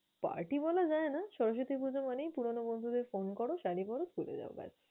Party বলা যায় না, সরস্বতী পূজা মানেই পুরনো বন্ধুদের phone করো, শাড়ি পরো, ঘুরে যাও ব্যাস!